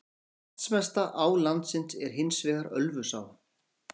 Vatnsmesta á landsins er hins vegar Ölfusá.